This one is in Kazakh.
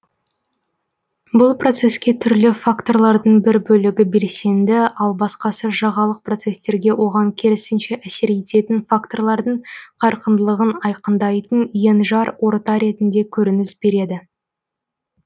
бұл процеске түрлі факторлардың бір бөлігі белсенді ал басқасы жағалық процестерге оған керісінше әсер ететін факторлардың қарқындылығын айқындайтын енжар орта ретінде көрініс береді